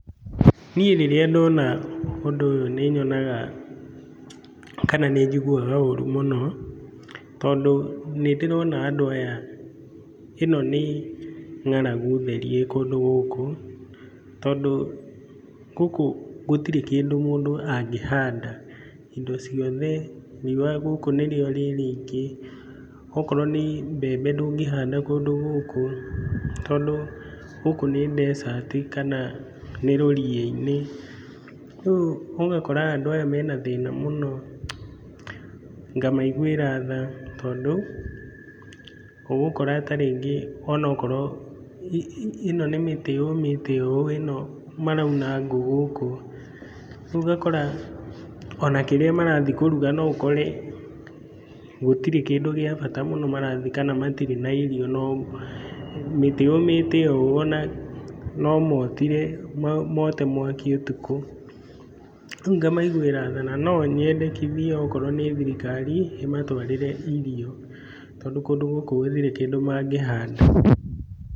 Niĩ rĩria ndona ũndũ ũyũ nĩnyonaga kana nĩ njiguaga ũru mũno tondũ nĩndĩrona andũ aya ĩno nĩ ng'aragu theri ĩ kũndũ gũkũ. Tondũ gũkũ gũtirĩ kĩndũ mũndũ angĩhanda indo ciothe, riũwa gũkũ nĩrĩo rĩrĩ rĩingĩ. Okorwo nĩ mbembe ndũngĩhanda kũndũ gũkũ tondũ gũkũ nĩ desert kana nĩ rũriĩ-inĩ. Rĩu ũgakora andũ aya marĩ na thĩna mũno. Ngamaiguĩra tha tondũ ũgũkora ta rĩngĩ ĩno nĩ mĩtĩ yũmĩte ũũ, ĩno marauna ngũ gũkũ na rĩu ũgakora ona kĩrĩa marathiĩ kũruga no ũkore gũtirĩ kĩndũ gĩa bata marathiĩ kana matirĩ na irio. Mĩtĩ yũmĩte ũũ ona no motire, mote mwaki ũtukũ. Rĩu ngamaiguĩra tha na no nyende nginya akorwo nĩ thirikari ĩmatwarĩre irio tondũ kũndũ gũkũ gũtirĩ kĩndũ mangĩhanda.